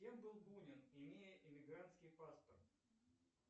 кем был бунин имея иммигрантский паспорт